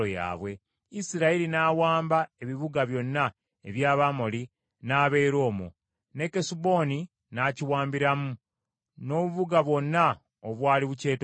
Isirayiri n’awamba ebibuga byonna eby’Abamoli n’abeera omwo, ne Kesuboni n’akiwambiramu n’obubuga bwonna obwali bukyetoolodde.